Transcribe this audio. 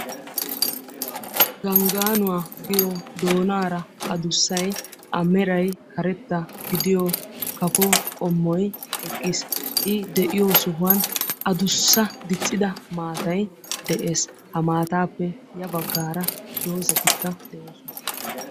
Ganggaanuwa giyo doonaara adussay a meray karetta gidiyo kafo qommoy eqqiis. I de'iyo sohuwan adussa diccida maatay de'ees. Ha maataappe ya baggaara dozatikka de'oosona.